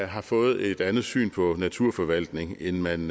har fået et andet syn på naturforvaltning end man